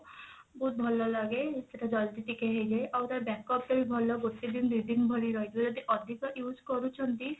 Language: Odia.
ବହୁତ ଭଲ ଲାଗେ ସେଟା ଜଲଦି ଟିକେ ହେଇଯାଏ ଆଉ ତା backup ଟା ବି ଭଲ ଗୋଟେ ଦିନ ଦୁଇ ଦିନ ଭଳି ରହିଯିବ ଯଦି ଅଧିକ use କରୁଛନ୍ତି